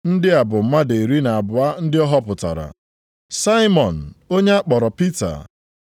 Ndị a bụ mmadụ iri na abụọ ndị ọ họpụtara. Saimọn (onye ọ kpọrọ Pita).